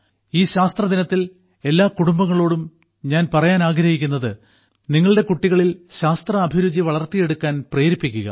ഈ ശാസ്ത്രദിനത്തിൽ എല്ലാ കുടുംബങ്ങളോടും ഞാൻ പറയാനാഗ്രഹിക്കുന്നത് നിങ്ങളുടെ കുട്ടികളിൽ ശാസ്ത്ര അഭിരുചി വളർത്തിയെടുക്കാൻ പ്രേരിപ്പിക്കുക